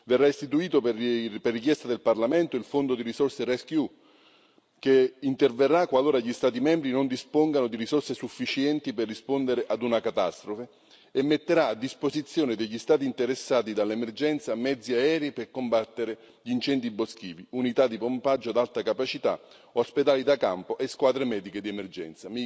Verrà istituito, per richiesta del Parlamento, il fondo di risorse RescEU, che interverrà qualora gli Stati membri non dispongano di risorse sufficienti per rispondere ad una catastrofe e metterà a disposizione degli Stati interessati dall'emergenza mezzi aerei per combattere gli incendi boschivi, unità di pompaggio ad alta capacità, ospedali da campo e squadre mediche di emergenza.